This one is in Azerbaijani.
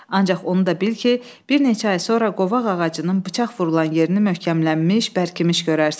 Ancaq onu da bil ki, bir neçə ay sonra qovaq ağacının bıçaq vurulan yerini möhkəmlənmiş, bərkimiş görərsən.